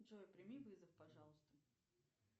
джой прими вызов пожалуйста